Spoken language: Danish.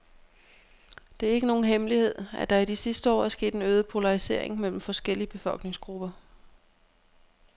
Det er ikke nogen hemmelighed, at der i de sidste år er sket en øget polarisering mellem forskellige befolkningsgrupper.